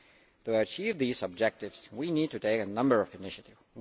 To achieve these objectives, we need to take a number of initiatives.